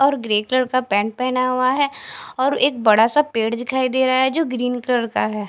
और grey colour का pant पेहना हुआ है और एक बड़ा सा पेड़ दिखाई दे रहा है जो ग्रीन कलर का है।